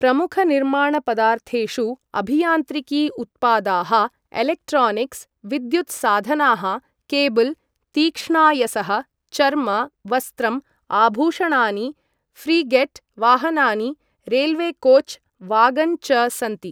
प्रमुखनिर्माणपदार्थेषु अभियान्त्रिकी उत्पादाः, इलेक्ट्रानिक्स्, विद्युत्साधनाः, केबल्, तीक्ष्णायसः, चर्म, वस्त्रम्, आभूषणानि, फ्रीगेट्, वाहनानि, रेल्वेकोच्, वागन् च सन्ति।